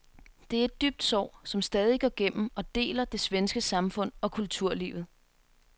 Det er et dybt sår, som stadig går gennem og deler det svenske samfund og kulturlivet.